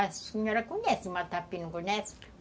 A senhora conhece o matapi, não conhece?